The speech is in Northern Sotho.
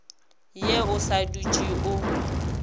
ye o sa dutse o